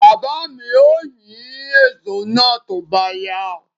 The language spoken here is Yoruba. Baba mi ó yín èso náà tó bá yá.